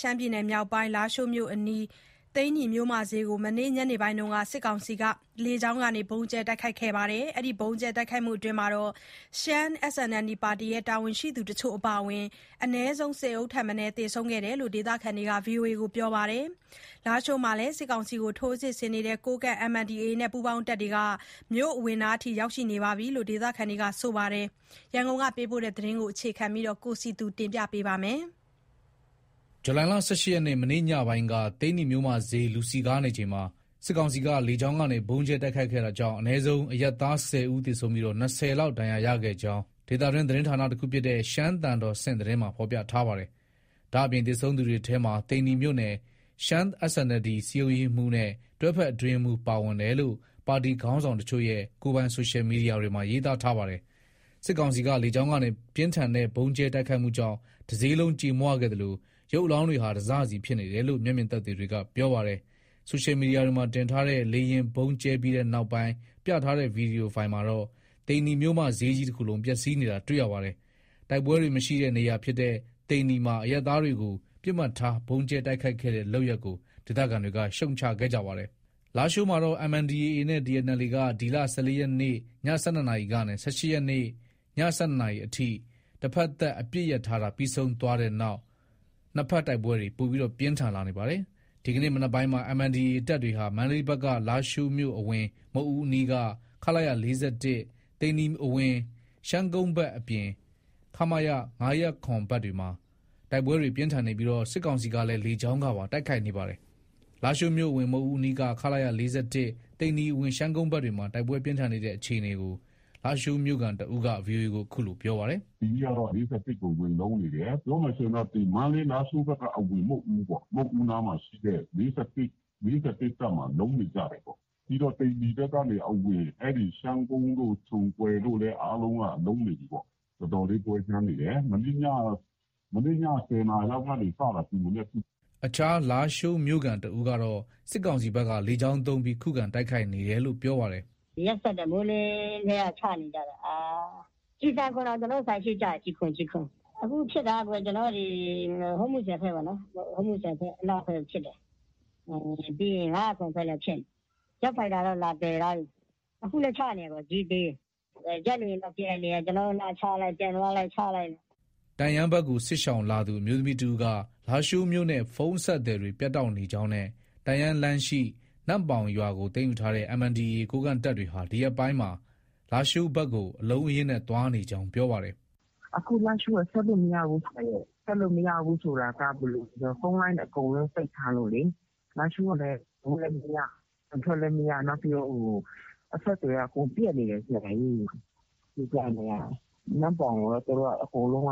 ရှမ်းပြည်မြောက်ပိုင်း တိုက်ပွဲတွေပြင်းထန်နေတဲ့လားရှိုးအနီး သိန္နီမြို့မစျေးကို မနေ့ညနေပိုင်းမှာ စစ်ကောင်စီက လေကြောင်းကနေ ဗုံးကြဲ တိုက်ခိုက်ခဲ့တာကြောင့် ရှမ်း SNLD ပါတီ တာဝန်ရှိသူတချို့အပါအ၀င် အနည်းဆုံး ၁၀ ထက်မနည်း သေဆုံးခဲ့ကြောင်း ဒေသခံတွက ပြောပါတယ်။ လားရှိုးမှာလည်း စစ်ကောင်စီကို ထိုးစစ်ဆင်နေတဲ့ ကိုးကန့် MNDAA နဲ့ပူးပေါင်းတပ်တွေဟာ မြို့အဝင်နားထိ ရောက်ရှိနေတယ်လို့လည်း ဒေသခံတွေက ပြောပါတယ်။ ရန်ကုန်က ပေးပို့လာတဲ့သတင်းကို ကိုစည်သူက ပြောပြမှာပါ။ ဇူလိုင် ၁၈ရက်နေ့ မနေ့ညနေပိုင်းက သိန္နီမြို့မဈေး လူစည်နေချိန်မှာ စစ်ကောင်စီက လေကြောင်းကနေ ဗုံးကြဲတိုက်ခိုက်ခဲ့တာကြောင့် အနည်းဆုံး အရပ်သား ၁၀ဦး သေဆုံးပြီး ၂၀ လောက် ဒဏ်ရာရခဲ့ကြောင်း ဒေသတွင်း သတင်းဌာနတခုဖြစ်တဲ့ သျှမ်းသံတော်ဆင့်သတင်းမှာ ဖော်ပြထားပါတယ်။ ဒါအပြင် သေဆုံးခဲ့သူတွေထဲမှာ သိန္နီမြို့နယ် ရှမ်း SNLD ရဲ့ စည်းရုံးရေးမှူးနဲ့ တွဲဘက်အတွင်းရေးမှူး ပါဝင်တယ်လို့ ပါတီခေါင်းဆောင်တချို့ရဲ့ ကိုယ်ပိုင် ဆိုရှယ်မီဒီယာတွေမှာ ရေးသားထားပါတယ်။ စစ်ကောင်စီက လေကြောင်းကနေ ပြင်းထန်တဲ့ ဗုံးကြဲ တိုက်ခိုက်မှုကြောင့် တစျေးလုံးကြေမွခဲ့သလို ရုပ်အလောင်းတွေဟာ တစစီဖြစ်နေတယ်လို့ မျက်မြင်သက်သေတွေက ပြောပါတယ်။ ဆိုရှယ်မီဒီယာတွေမှာ တင်ထားတဲ့ လေယာဉ်ဗုံးကြဲပြီးနောက်ပိုင်း ပြထားတဲ့ ဗွီဒီယိုဖိုင်မှာတော့ သိန္နီမြို့မဈေးကြီးတခုလုံးပျက်စီးနေတာတွေ့ရပါတယ်။ တိုက်ပွဲတွေ မရှိတဲ့ နေရာဖြစ်တဲ့ သိန္နီမှာ အရပ်သားတွေကို ပစ်မှတ်ထား ဗုံးကြဲတိုက်ခိုက်ခဲ့တဲ့ လုပ်ရပ်ကို ဒေသခံတွေက ရှုံ့ချခဲ့ကြပါတယ်။ လားရှိုးမှာတော့ MNDAA နဲ့ TNLA က ဒီလ ၁၄ရက်နေ့ ည ၁၂နာရီကနေ ၁၈ရက်နေ့ ည ၁၂နာရီအထိ တဘက်သတ်အပစ်ရပ်ထားတာ ပြီးဆုံးသွားတဲ့နောက်မှာ နှစ်ဖက် တိုက်ပွဲတွေ ပိုပြီး ပြင်းထန်လာပါတယ်။ ဒီကနေ့ မနက်ခင်းမှာ MNDAA တပ်တွေဟာ မန္တလေးဘက်က လားရှိုးမြို့အဝင် မုဒ်ဦးအနီးက ခလရ ၄၁၊ သိန္နီအဝင် ရှမ်းကုန်းဘက်အပြင် ခမရ ၅၀၇ ဘက်မှာ တိုက်ပွဲတွေ ပြင်းထန်နေပြီး စစ်ကောင်စီကလည်း လေကြောင်းကပါ တိုက်ခိုက်နေပါတယ်။ လားရှိုးမြို့အဝင် မုဒ်ဦးအနီးက ခလရ ၄၁၊ သိန္နီအဝင် ရှမ်းကုန်းဘက်တွေမှာ တိုက်ပွဲ ပြင်းထန်နေတဲ့အခြေအနေကို လားရှိုးမြို့ခံတဦးက VOA ကို အခုလို ပြောပါတယ်။ “ဒီနေ့ကတော့ ၄၁ကို ဝင်လုံးနေတယ်။ ပြောမယ်ဆိုရင်တော့ မန္တလေး-လားရှိုးဘက်အဝင် မုဒ်ဦးပေါ့။ မုဒ်ဦးနားမှာရှိတဲ့ (ခလရ) ၄၁၊ ၄၁ တပ်မှာ လုံးနေကြတယ်ပေါ့။ ပြီးတော့ သိန္နီဘက်ကနေ အဝင် ရှမ်းကုန်းတို့ ၊ ချုံကွယ်တို့လည်းအားလုံးက လုံးနေပြီပေါ့။ တော်တော်လေးပွဲကြမ်းနေတယ်။ မနေ့ညက ၁၀နာရီလောက်က စတာ။ ဒီမနက်ထိ။ ” အခြား လားရှိုးမြို့ခံတဦးကတော့ စစ်ကောင်စီဘက်က လေကြောင်းသုံးပြီး ခုခံတိုက်ခိုက်နေတယ်လို့ ပြောပါတယ်။ “ ရက်စက်တယ် မိုးလင်းကတည်းက ချနေကြတာ။ ကျည်ဆံခွံတောင် ကျနော့ဆိုင်ရှေ့ကျတယ်။ ကျည်ခွံ့ ကျည်ခွံ။ အခုဖြစ်တာ ဟူးမူဆယ်ဘက်ပေါ့။ ဟူးမူဆယ်ဘက်အနောက်ဘက် ဖြစ်တယ်။ ပြီးရင် ၅၀၇ဘက်လည်း ဖြစ်နေတယ်။ ဂျက်ဖိုက်တာတော့ လာတွယ်သွားပြီ။ အခုလည်း ချနေတယ် အကြီး အသေး။ ဂျက်လေယာဉ်တော့ ပျံနေတယ်။ ကျနော်တို့နားချလိုက် ပြန်သွားလိုက်နဲ့။ ” တန့်ယန်းဘက်ကို စစ်ရှောင်လာသူ အမျိုးသမီးတဦးက လားရှိုးမြို့နဲ့ ဖုန်းအဆက်အသွယ်တွေ ပြတ်တောက်နေကြောင်းနဲ့ တန့်ယန်းလမ်းရှိ နမ့်ပေါင်ရွာကို သိမ်းယူထားတဲ့ MNDAA ကိုးကန့်တပ်တွေဟာ ဒီရက်ပိုင်းမှာ လားရှိုးဘက်ကို အလုံးအရင်းနဲ့ သွားနေကြောင်း ပြောပါတယ်။ “ အခုလားရှိုးက ဆက်လို့မရဘူး။ ဆက်လို့ မရဘူးဆိုတာက ဖုန်းလိုင်းအကုန်လုံးပိတ်ထားလို့လေ။ လားရှိုးကလည်း အဝင်လည်း မရ ၊ အထွက်လည်း မရ နောက်ပြီးတော့ အဆက်အသွယ်က အကုန်ပြတ်နေတယ်။ ကိုးကန့်တွေက နမ့်ပေါင်ကိုတော့ သူတို့က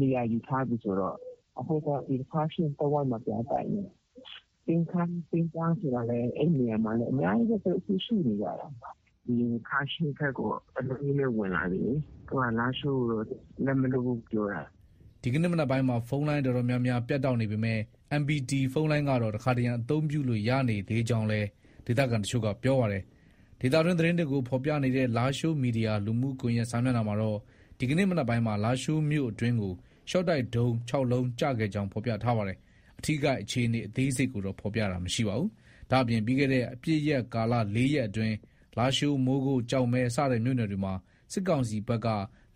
နေရာယူထားပြီဆိုတော့ အခု ခါးရှီးတဝိုက်မှာ ပြန်တိုက်နေတယ်။ ကျိန်းခမ်း ကျိန်းခမ်းနေရာမှာလည်း သူတို့ အများကြီးပဲ ရှိနေကြတာ။ ခါးရှီးဘက်ကို အလုံးအရင်းနဲ့ ဝင်လာတယ်လေ။ သူတို့က လားရှိုးကိုတော့ လက်မလွှတ်ဘူးပြောတယ်။ ” ဒီကနေ့မနက်ခင်းမှာ ဖုန်းလိုင်းအတော်များများ ပြတ်တောက်နေပေမဲ့ MPT ဖုန်းလိုင်းကတော့ တခါတရံ အသုံးပြုလို့ ရနေသေးကြောင်းလည်း ဒေသခံအချို့က ပြောပါတယ်။ ဒေသတွင်းသတင်းတွေကိုဖော်ပြနေတဲ့ လားရှိုးမီဒီယာ လူမှုကွန်ရက်စာမျက်နှာမှာတော့ ဒီကနေ့မနက်ပိုင်းမှာ လားရှိုးမြို့အတွင်းကို ရှော့တိုက်ဒုံး ၆လုံးကျခဲ့ကြောင်း ဖော်ပြထားပါတယ်။ အထိအခိုက်အခြေအနေ အသေးစိတ်ကိုတော့ ဖော်ပြတာမရှိပါဘူး။ ဒါ့အပြင် ပြီးခဲ့တဲ့ အပစ်ရပ်ကာလ ၄ရက်အတွင်း လားရှိုး၊ မိုးကုတ်၊ ကျောက်မဲ စတဲ့မြို့နယ်တွေမှာ စစ်ကောင်စီဘက်က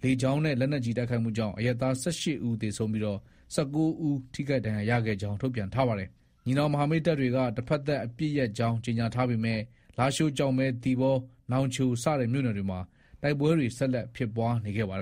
လေကြောင်းနဲ့ လက်နက်ကြီးတိုက်ခိုက်မှုကြောင့် အရပ်သား ၁၈ဦး သေဆုံးပြီး ၁၉ဦး ထိခိုက်ဒဏ်ရာရခဲ့ကြောင်း ထုတ်ပြန်ထားပါတယ်။ ညီနောင်မဟာမိတ်တပ်တွေက တဘက်သတ်အပစ်ရပ်ကြောင်း ကြေညာထားပေမဲ့ လားရှိုး၊ ကျောက်မဲ၊ သီပေါ ၊ နောင်ချို စတဲ့မြို့နယ်တွေမှာ တိုက်ပွဲတွေဟာ ဆက်လက်ဖြစ်ပွားနေခဲ့ပါတယ်